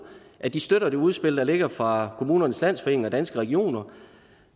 at de støtter det udspil der ligger fra kommunernes landsforening og danske regioner